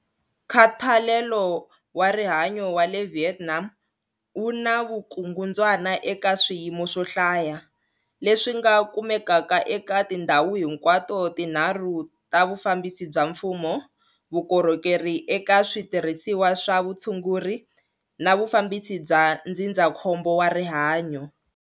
Nkhathalelo wa rihanyo wa le Vietnam wu na vukungundzwana eka swiyimo swo hlaya, leswi nga kumekaka eka tindhawu hinkwato tinharhu ta vufambisi bya mfumo, vukorhokeri eka switirhisiwa swa vutshunguri na vufambisi bya ndzindzakhombo wa rihanyo.